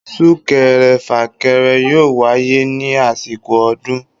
Súkere fàkẹrẹ yóò wáyé ní àsìkò ọdún